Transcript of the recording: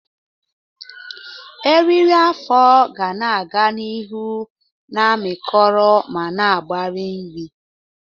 Eriri afọ ga-aga n'ihu na-amịkọrọ ma na-agbari nri.